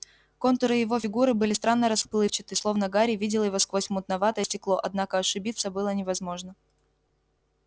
контуры его фигуры были странно расплывчаты словно гарри видел его сквозь мутноватое стекло однако ошибиться было невозможно